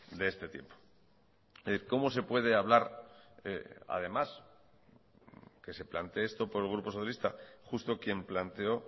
de este tiempo cómo se puede hablar además que se plantee esto por el grupo socialista justo quien planteó